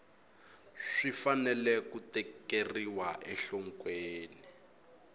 swi fanele ku tekeriwa enhlokweni